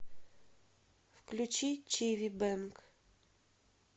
включи чиви бэнг